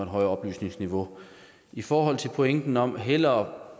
højere oplysningsniveau i forhold til pointen om hellere